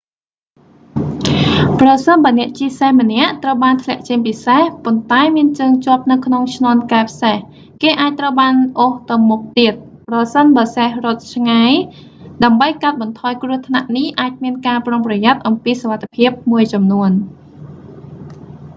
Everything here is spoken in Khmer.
ប្រសិនបើអ្នកជិះសេះម្នាក់ ត្រូវបានធ្លាក់ចេញពីសេះ ប៉ុន្តែមានជើងជាប់នៅក្នុងឈ្នាន់កែបសេះ គេអាចត្រូវបានអូសទៅមុខទៀត ប្រសិនបើសេះរត់ឆ្ងាយ ដើម្បីកាត់បន្ថយគ្រោះថ្នាក់នេះអាចមានការប្រុងប្រយ័ត្នអំពីសុវត្ថិភាពមួយចំនួន